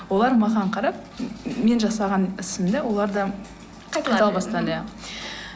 олар маған қарап мен жасаған ісімді олар да қайталай бастады иә